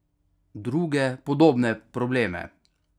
Druge podobne probleme?